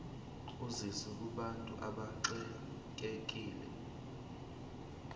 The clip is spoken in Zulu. usizo kubantu abaxekekile